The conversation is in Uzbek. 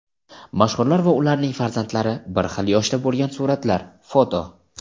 Mashhurlar va ularning farzandlari bir xil yoshda bo‘lgan suratlar (foto).